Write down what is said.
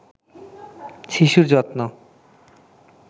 শিশুর যত্ন